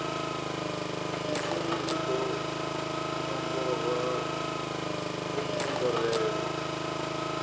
vhufumi u ḓo nomborwa kunomborele